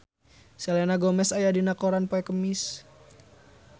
Selena Gomez aya dina koran poe Kemis